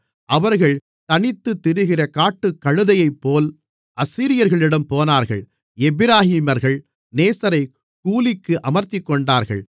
அவர்கள் தனித்துத் திரிகிற காட்டுக்கழுதையைப்போல் அசீரியர்களிடம் போனார்கள் எப்பிராயீமர்கள் நேசரைக் கூலிக்கு அமர்த்திக்கொண்டார்கள்